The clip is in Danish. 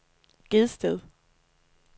Gedsted